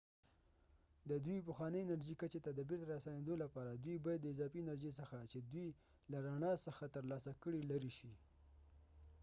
د دوی پخوانۍ انرژي کچې ته د بیرته راستنیدو لپاره دوی باید د اضافي انرژي څخه چې دوی له رڼا څخه ترلاسه کړي لرې شي